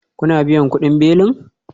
Kuna biyan kudin belin?